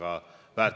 Aitäh!